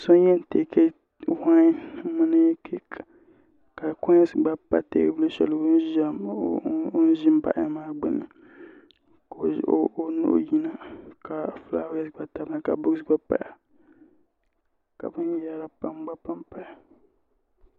So yɛn taki wɛŋ mini kiiki ka consi gba pa teebulu o zin baɣiya maa gbuni ka o nuhi yina ka fulaawaasi gba tamya fulaawaasi gba paya ka bin yɛra pam gba paya